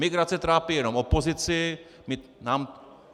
Migrace trápí jenom opozici.